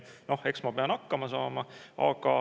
Noh, eks ma pean hakkama saama.